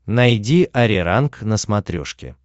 найди ариранг на смотрешке